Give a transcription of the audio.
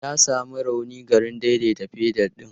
Ya sami rauni garin daidaita fedal ɗin.